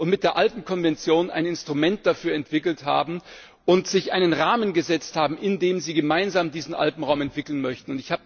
Mit der Alpenkonvention haben sie ein Instrument dafür entwickelt und sich einen Rahmen gesetzt, in dem sie gemeinsam diesen Alpenraum entwickeln möchten.